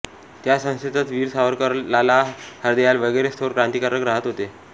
त्या संस्थेतच वीर सावरकर लाला हरदयाल वगैरे थोर क्रांतीकारक राहत होते